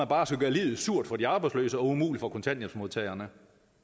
bare skal gøre livet surt for de arbejdsløse og umuligt for kontanthjælpsmodtagerne